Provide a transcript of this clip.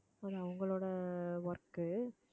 அது அவங்களோட work